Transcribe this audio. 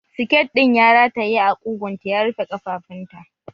Siket ɗin ya rataye a ƙugunta ya rufe ƙafafunta